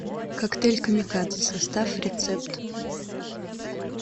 коктейль камикадзе состав рецепт